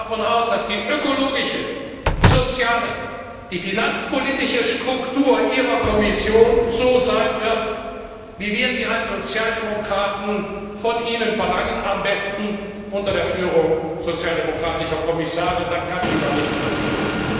Wir gehen davon aus, dass die ökologische, die soziale, die finanzpolitische Struktur Ihrer Kommission so sein wird, wie wir sie als Sozialdemokraten von Ihnen verlangen, am besten unter der Führung sozialdemokratischer Kommissare, dann kann Ihnen auch nichts passieren.